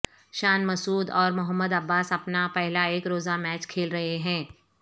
شان مسعود اور محمد عباس اپنا پہلا ایک روزہ میچ کھیل رہے ہیں